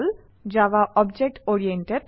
Java object oriented